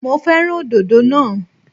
Mo fẹ́ràn òdòdó naa